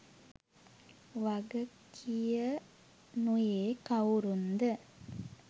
වගකියනුයේ කවුරුන්ද